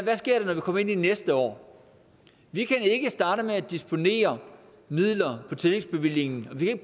der sker når vi kommer ind i næste år vi kan ikke starte med at disponere midler på tillægsbevillingen og vi kan